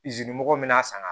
Izinimɔgɔ min bɛna san